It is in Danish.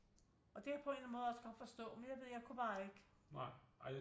Og det kan jeg på en eller anden måde også godt forstå men jeg ved jeg kunne bare ikke